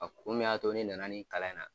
kun min y'a to ne na na nin kalan in na.